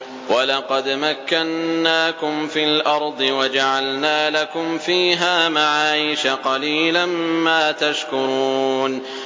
وَلَقَدْ مَكَّنَّاكُمْ فِي الْأَرْضِ وَجَعَلْنَا لَكُمْ فِيهَا مَعَايِشَ ۗ قَلِيلًا مَّا تَشْكُرُونَ